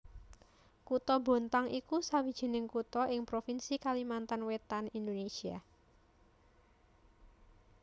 Kutha Bontang iku sawijining kutha ing provinsi Kalimantan Wétan Indonésia